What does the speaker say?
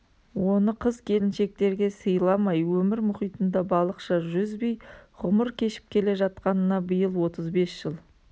оны қыз-келіншектерге сыйламай өмір мұхитында балықша жүзбей ғұмыр кешіп келе жатқанына биыл отыз бес жыл